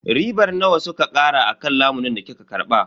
Ribar nawa suka kara akan lamunin da kika karba?